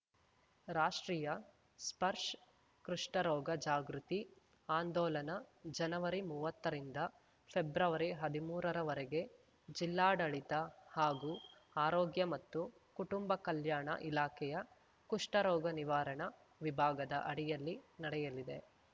ರಾಷ್ಟ್ರೀಯ ಸ್ಪರ್ಷ್ ಕೃಷ್ಠರೋಗ ಜಾಗೃತಿ ಆಂದೋಲನ ಜನವರಿ ಮುವ್ವತ್ತರಿಂದ ಫೆಬ್ರವರಿ ಹದಿಮೂರರ ವರೆಗೆ ಜಿಲ್ಲಾಡಳಿತ ಹಾಗೂ ಆರೋಗ್ಯ ಮತ್ತು ಕುಟುಂಬ ಕಲ್ಯಾಣ ಇಲಾಖೆಯ ಕುಷ್ಠರೋಗ ನಿವಾರಣ ವಿಭಾಗದ ಅಡಿಯಲ್ಲಿ ನಡೆಯಲಿದೆ